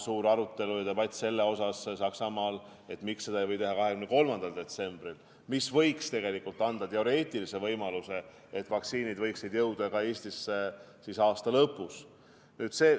Suur arutelu ja debatt käib Saksamaal selle üle, miks ei võiks seda teha 23. detsembril, mis võiks anda teoreetilise võimaluse, et vaktsiinid võiksid jõuda aasta lõpus ka Eestisse.